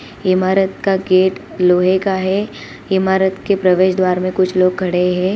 इमारत का गेट लोहे का है| इमारत के प्रवेश द्वार में कुछ लोग खड़े हैं।